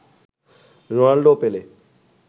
Ronaldo ও পেলে